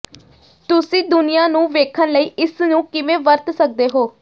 ਤੁਸੀਂ ਦੁਨੀਆਂ ਨੂੰ ਵੇਖਣ ਲਈ ਇਸ ਨੂੰ ਕਿਵੇਂ ਵਰਤ ਸਕਦੇ ਹੋ